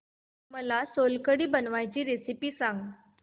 मला सोलकढी बनवायची रेसिपी सांग